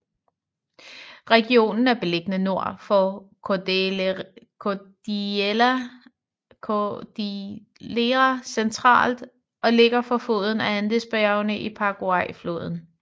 Regionen er beliggende nord for Cordillera central og ligger fra foden af Andesbjergene til Paraguayfloden